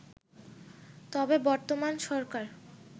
তবে বর্তমান সরকার